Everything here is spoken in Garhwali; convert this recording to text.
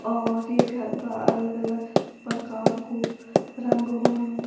और ये घर फर अलग-अलग प्रकार कु रंग हुयुं।